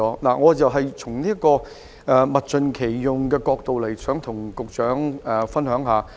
我想從物盡其用的角度向局長分享一下我的看法。